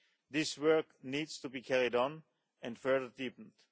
This work needs to be carried on and further deepened.